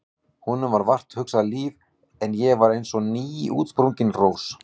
Honum var vart hugað líf en ég var eins og nýútsprungin rós.